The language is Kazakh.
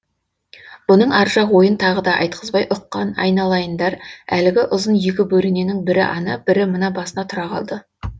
бұның ар жақ ойын тағы да айтқызбай ұққан айналайындар әлгі ұзын екі бөрененің бірі ана бірі мына басына тұра қалды